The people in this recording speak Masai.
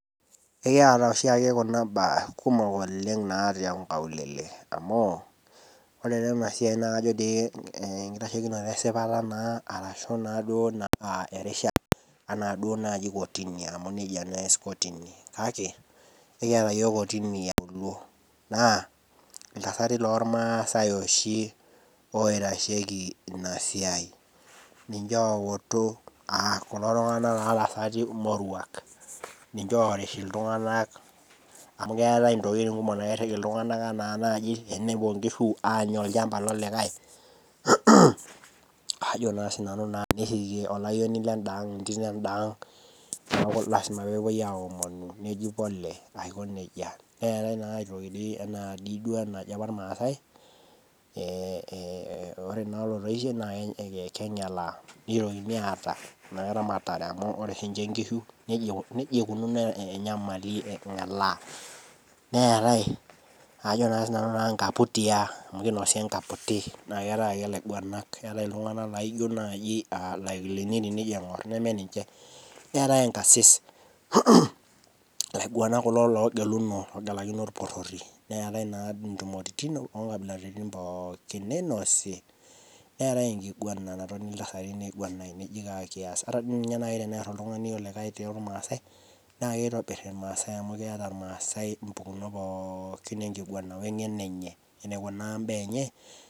Ekiata oshiake kuna baa kumok oleng tonkaulele enkitashekino esipata anaduo nai kotini kake ekiata yiol kotini eauluo ltasatai lormasaai oshi oitashieki inasiai ninje outu kulo tasati moruak ninche orish ltunganak amu keetae ntokitin kumok nairiki ltungani ena naji enepuo nkishu anya olchamba lolikae ajo na nani ashubteniyieu ninya entito idiang neaku lasima pepuoi aomonu neji pole neji kulo kulie ee ore na olotoishe na kengelaaa nitokini aata eramatare amu ore oshi nye nkishu najia iko angelaa neetae naa ajo sinanu nkaputi amu kinosi nkaputi na keetae ake laputak laijo nai lakilini tenijo aingur laiguanak kulo ogeluno eetae naa ntumoritin pookin ninosi neetae enkiguana peji kaa kias ana nai. Tenear oltungani olikae tormasai na kitobir irmasaai amu keeta mpukunot pookin enkiguana wengeno enye enikuna mbaa enye.